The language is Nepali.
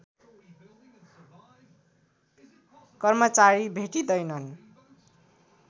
कर्मचारी भेटिँदैनन्